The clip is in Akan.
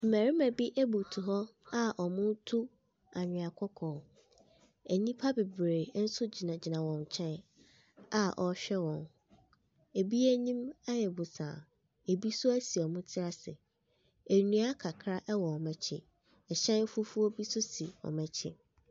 Mmɛrima bi abutuw hɔ a ɔmo tu anwea kɔkɔɔ. Nnipa bebree nso gyina gyina wɔn nkyɛn a wɔhwɛ wɔn. Ebi anim ayɛ bosaa. Ebi nso esi ɔmo ti ase. Nnua kakra ɛwɔ ɔmo akyi. Ɛhyɛn fufuo bi nso si ɔmo akyi.